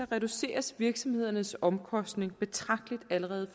reduceres virksomhedernes omkostning betragteligt allerede